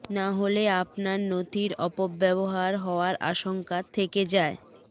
না হলে আপনার নথির অপব্যবহার হওয়ার আশঙ্কা থেকে যায়